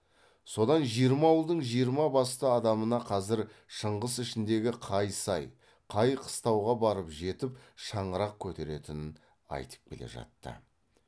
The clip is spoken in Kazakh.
содан жиырма ауылдың жиырма басты адамына қазір шыңғыс ішіндегі қай сай қай қыстауға барып жетіп шаңырақ көтеретінін айтып келе жатты